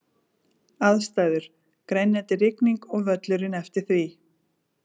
Aðstæður: Grenjandi rigning og völlurinn eftir því.